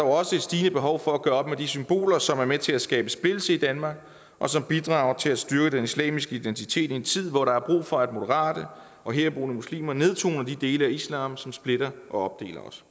også et stigende behov for at gøre op med de symboler som er med til at skabe splittelse i danmark og som bidrager til at styrke den islamiske identitet i en tid hvor der er brug for at moderate og herboende muslimer nedtoner de dele af islam som splitter og opdeler os